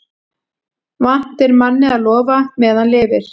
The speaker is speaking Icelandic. Vant er manni að lofa meðan lifir.